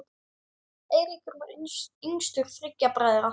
Eiríkur var yngstur þriggja bræðra.